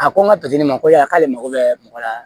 A ko n ka ma ko y'a k'ale mago bɛ mɔgɔ la